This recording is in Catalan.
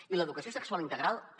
i l’educació sexual integral també